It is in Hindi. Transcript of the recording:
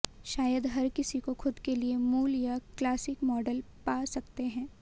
शायद हर किसी को खुद के लिए मूल या क्लासिक मॉडल पा सकते हैं